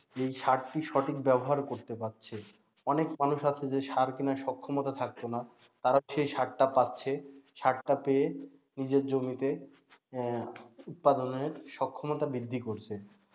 এই সারটির সঠিক ব্যবহার করতে পারছে। অনেক মানুষ আছে যে সার কেনার সক্ষমতা থাকতো না তারা সেই সারটা পাচ্ছে, সারটা পেয়ে নিজের জমিতে উৎপাদনের সক্ষমতা বৃদ্ধি করছে,